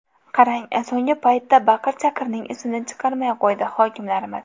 Qarang, so‘nggi paytda baqir-chaqirning isini chiqarmay qo‘ydi hokimlarimiz.